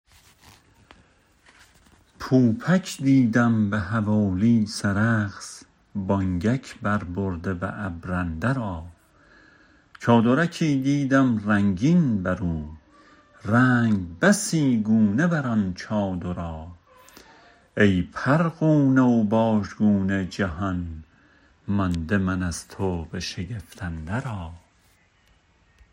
پوپک دیدم به حوالی سرخس بانگک بربرده به ابر اندرا چادرکی دیدم رنگین برو رنگ بسی گونه بر آن چادرا ای پرغونه و باژگونه جهان مانده من از تو به شگفت اندرا